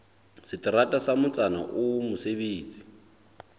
seterata sa motsana oo mosebetsi